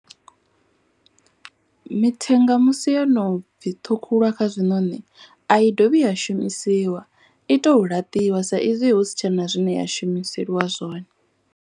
Mithenga musi yo no bvi ṱhukhuliwa kha zwiṋoni. A i dovhi ya shumisiwa i to laṱiwa sa izwi hu si tshena zwine ya shumiseliwa zwone.